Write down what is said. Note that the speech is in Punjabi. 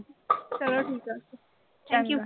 ਚਲੋ ਠੀਕ ਆ। thank you